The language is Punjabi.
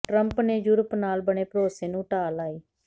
ਟਰੰਪ ਨੇ ਯੂਰੋਪ ਨਾਲ ਬਣੇ ਭਰੋਸੇ ਨੂੰ ਢਾਹ ਲਾਈ